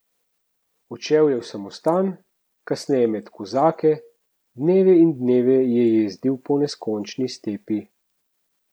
Odšel je v samostan, kasneje med kozake, dneve in dneve je jezdil po neskončni stepi.